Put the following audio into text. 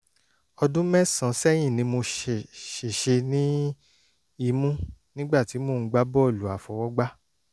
ọdún mẹ́sàn-án sẹ́yìn ni mo ṣèṣe ní imú nígbà tí mò ń gbá bọ́ọ̀lù àfọwọ́gbá